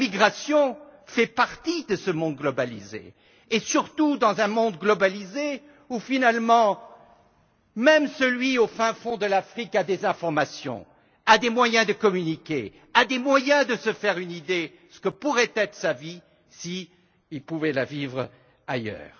La migration fait partie de ce monde globalisé et surtout dans un monde globalisé où, finalement, même celui qui vit au fin fond de l'Afrique a des informations, des moyens de communiquer, des moyens de se faire une idée de ce que pourrait être sa vie s'il pouvait la vivre ailleurs.